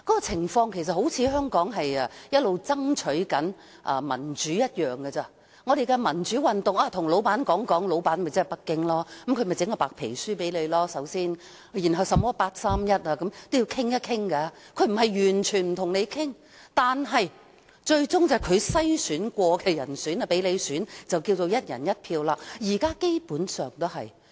情況就好像香港一直爭取民主，但進行民主運動要先跟老闆說一聲，老闆就是"北京"，他先送我們一份白皮書，接着作出八三一決定，最後讓你在他篩選過的人當中選出一人，這就是"一人一票"。